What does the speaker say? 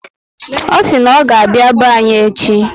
O si na oga abịa be anyị echi